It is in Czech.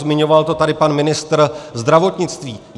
Zmiňoval to tady pan ministr zdravotnictví.